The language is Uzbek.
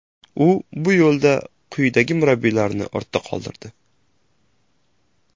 U bu yo‘lda quyidagi murabbiylarni ortda qoldirdi: !